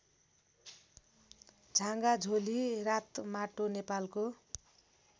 झागाझोली रातमाटो नेपालको